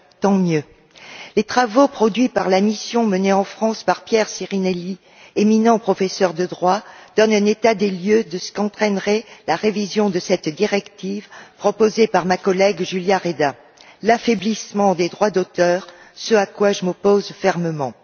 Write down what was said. Tant mieux! Les travaux de la mission menée en France par Pierre Sirinelli, éminent professeur de droit, présentent un état des lieux de ce qu'entraînerait la révision de cette directive proposée par ma collègue Julia Reda l'affaiblissement des droits d'auteur, ce à quoi je m'oppose fermement.